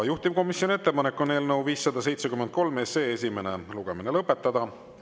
Juhtivkomisjoni ettepanek on eelnõu 573 esimene lugemine lõpetada.